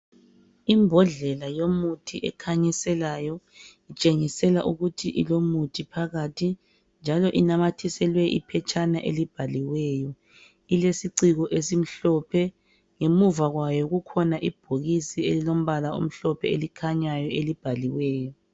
Imbodlela yomuthi ekhanyiselayo itshengisela ukuthi ilomuthi phakathi .Njalo inanyathiselwe iphetshana elibhaliweyo .Ilesiciko esimhlophe . Ngemuva kwayo kukhona ibhokisi elimbala omhlophe elikhanyayo elibhaliweyo.